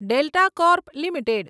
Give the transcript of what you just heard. delta Corp limited